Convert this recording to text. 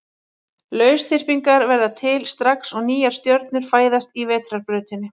Lausþyrpingar verða til strax og nýjar stjörnur fæðast í Vetrarbrautinni.